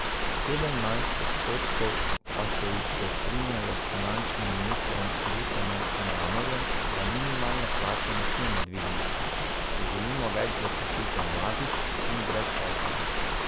Sedemnajst odstotkov pa se jih je strinjalo s finančnim ministrom Dušanom Mramorjem, da minimalne plače ne smemo dvigniti, če želimo več zaposlitev mladih in brezposelnih.